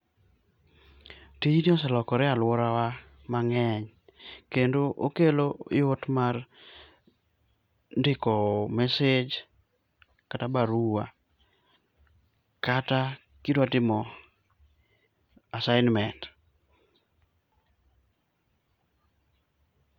tijni oselokore e aluorawa mang'eny kendo okelo yot mar ndiko message kata barua kata kidwa timo assignment